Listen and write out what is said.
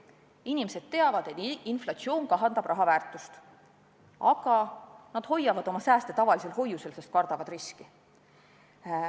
Inimesed teavad, et inflatsioon kahandab raha väärtust, aga nad hoiavad oma sääste tavalisel hoiukontol, sest kardavad riske.